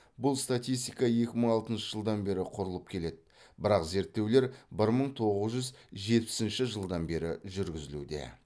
бұл статистика екі мың алтыншы жылдан бері құрылып келеді бірақ зерттеулер бір мың тоғыз жүз жетпісінші жылдан бері жүргізілуде